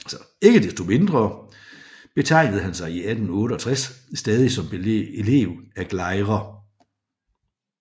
Ikke desto mindre betegnede han sig i 1868 stadig som elev af Gleyre